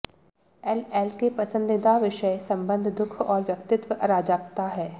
LL के पसंदीदा विषय संबंध दुःख और व्यक्तित्व अराजकता हैं